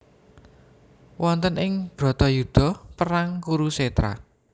Wonten ing Bharatayuda perang Kurusetra